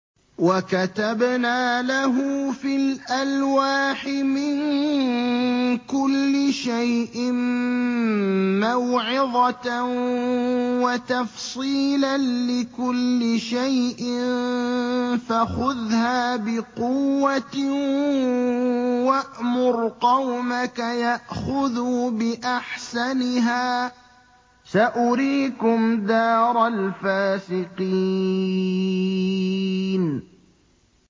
وَكَتَبْنَا لَهُ فِي الْأَلْوَاحِ مِن كُلِّ شَيْءٍ مَّوْعِظَةً وَتَفْصِيلًا لِّكُلِّ شَيْءٍ فَخُذْهَا بِقُوَّةٍ وَأْمُرْ قَوْمَكَ يَأْخُذُوا بِأَحْسَنِهَا ۚ سَأُرِيكُمْ دَارَ الْفَاسِقِينَ